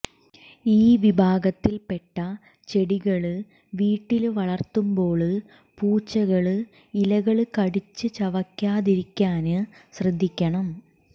ഈ വിഭാഗത്തില്പ്പെട്ട ചെടികള് വീട്ടില് വളര്ത്തുമ്പോള് പൂച്ചകള് ഇലകള് കടിച്ച് ചവയ്ക്കാതിരിക്കാന് ശ്രദ്ധിക്കണം